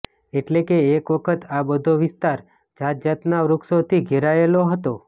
એટલે એક વખત આ બધો વિસ્તાર જાતજાતનાં વૃક્ષોથી ઘેરાયેલો હતો